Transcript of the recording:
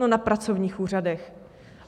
No na pracovních úřadech!